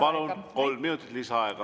Palun, kolm minutit lisaaega!